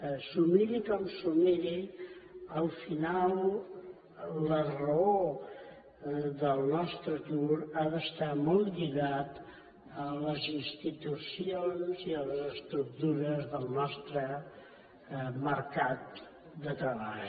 s’ho miri com s’ho miri al final la raó del nostre atur ha d’estar molt lligada a les institucions i a les estructures del nostre mercat de treball